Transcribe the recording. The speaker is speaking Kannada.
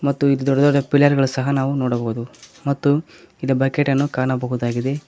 ಮತ್ತು ಇಲ್ಲಿ ದೊಡ್ಡ ದೊಡ್ಡ ಪಿಲ್ಲರ್ ಗಳು ಸಹ ನಾವು ನೋಡಬಹುದು ಮತ್ತು ಇಲ್ ಬಕೆಟ್ ಅನ್ನು ಕಾಣಬಹುದಾಗಿದೆ.